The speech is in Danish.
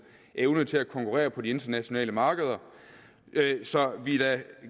evne til at konkurrere på de internationale markeder så vi er da